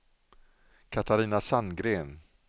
Catarina Sandgren